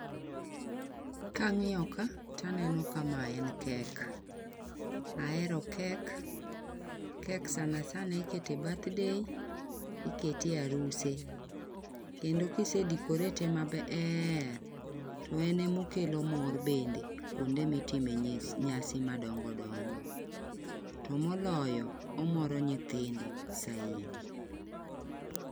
Ka ng'iyo ka taneno ka ma en kek. Ahero kek kek sana sana ikete birthday, ikete e aruse kendo kisedekorete maber to en omokelo mor bende kuonde mitimo nyese nyasi madongo dongo. To moloyo omoro nyithindo saidi.